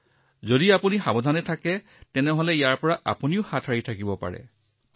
গতিকে এটা কথা যদি আপুনি সাৱধান হয় আৰু সংযম অৱলম্বন কৰে আপুনি ইয়াক অলপ এৰাই চলিব পাৰে